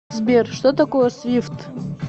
сбер что такое свифт